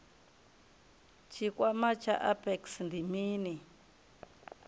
tshikwama tsha apex ndi mini